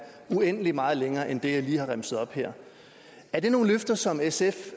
uendelig meget længere end det jeg lige har remset op her er det nogle løfter som sf